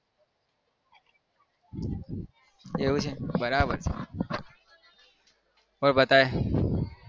એવું છે બરાબર છે. બોલ બતાય